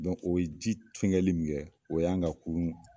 Dɔnku o ye ji funkɛli min kɛ o y'an ka kurun